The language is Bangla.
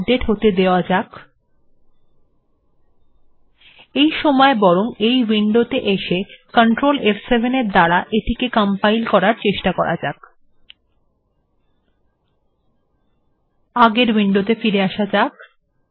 আগের উইন্ডোত়ে ফিরে আসা যাক